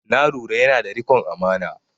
Na lura yana da riƙon amana